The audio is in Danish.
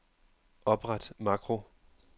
Opret makro.